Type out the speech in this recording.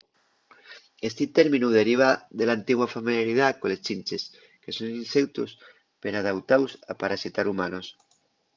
esti términu deriva de l’antigua familiaridá coles chinches que son inseutos peradautaos a parasitar humanos